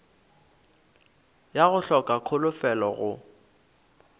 ya go hloka kholofelo go